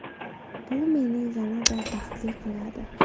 Bu meni yanada baxtli qiladi.